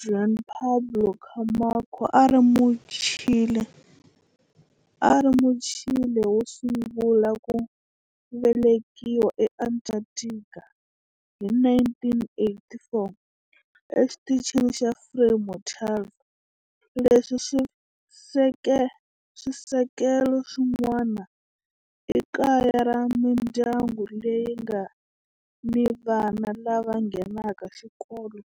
Juan Pablo Camacho a a ri Muchile wo sungula ku velekiwa eAntarctica hi 1984 eXitichini xa Frei Montalva. Sweswi swisekelo swin'wana i kaya ra mindyangu leyi nga ni vana lava nghenaka xikolo